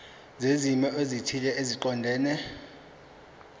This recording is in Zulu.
zezimo ezithile eziqondene